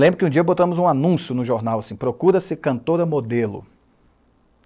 Lembro que um dia botamos um anúncio no jornal, assim, procura-se cantora modelo.